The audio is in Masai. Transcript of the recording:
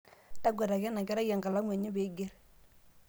taguataki enakerai enkalamu enye peiger